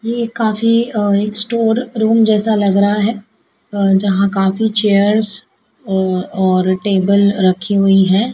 ये काफी अह एक स्टोर रूम जैसा लग रहा है अह जहां काफी चेयर्स औ और टेबल रखी हुई है।